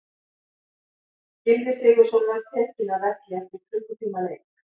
Gylfi Sigurðsson var tekinn af velli eftir klukkutíma leik.